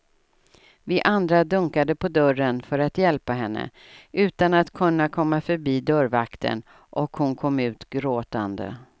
Vi andra dunkade på dörren för att hjälpa henne utan att kunna komma förbi dörrvakten och hon kom ut gråtande.